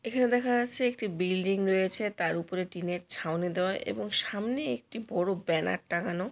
এখানে দেখা যাচ্ছে একটি বিল্ডিং রয়েছে তার উপরে টিন এর ছাউনি দেওয়া এবং সামনে একটি বড়ো ব্যানার টাঙানো।